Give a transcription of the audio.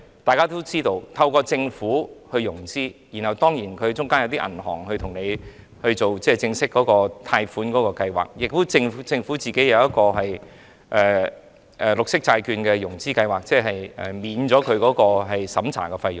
大家也知道，在政府融資中，銀行會參與正式的貸款計劃，而政府也會在綠色債券融資計劃中免去相關審查費用。